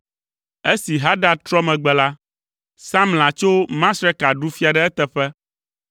Esi Hadad trɔ megbe la, Samla tso Masreka ɖu fia ɖe eteƒe.